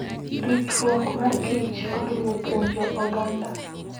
Ritruok mar kich oriwo puonjo oganda.